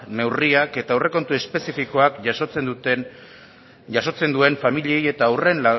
neurriak eta aurrekontu espezifikoak jasotzen duen familiei eta